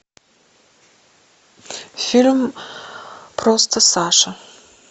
фильм просто саша